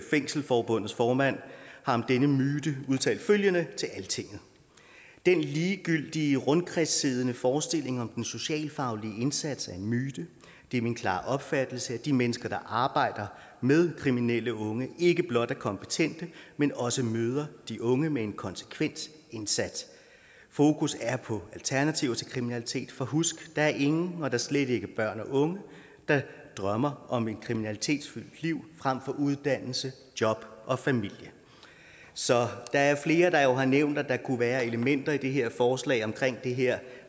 fængselsforbundets formand har om denne myte udtalt følgende til altinget den ligegyldige rundkredssiddende forestilling om den socialfaglige indsats er en myte det er min klare opfattelse at de mennesker der arbejder med kriminelle unge ikke blot er kompetente men også møder de unge med en konsekvent indsats fokus er på alternativer til kriminalitet for husk der er ingen og da slet ikke børn og unge der drømmer om et kriminalitetsfyldt liv frem for uddannelse job og familie så der er jo flere der har nævnt at der kunne være elementer i det her forslag om det her